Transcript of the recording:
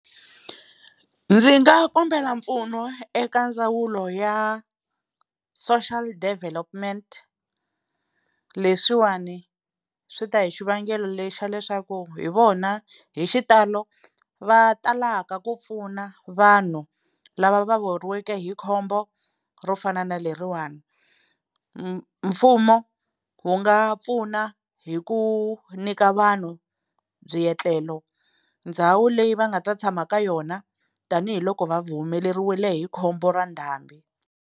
Ndzi nga kombela mpfuno eka ndzawulo ya Social Development, leswiwani swi ta hi xivangelo lexa leswaku hi vona hi xitalo va talaka ku pfuna vanhu lava va weriweke hi khombo ro fana na leriwani. Mfumo wu nga pfuna hi ku nyika vanhu byietlelo ndhawu leyi va nga ta tshama ka yona tanihiloko va humelerile hi khombo ra ndhambi.